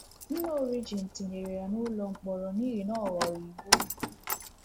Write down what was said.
Nna Origen etinyere ya n’ụlọ mkpọrọ n’ihi na ọ ghọrọ Igbo.